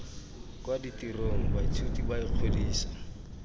kwa ditirong baithuti ba ikgodisa